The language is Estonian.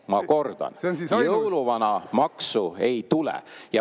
Ma kordan: jõuluvanamaksu ei tule!